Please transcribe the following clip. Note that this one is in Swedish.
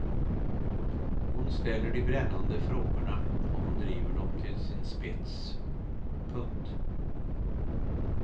Hon ställer de brännande frågorna och hon driver dem till sin spets. punkt